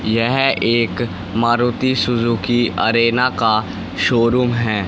यह एक Maruti Suzuki Arena का शोरूम है।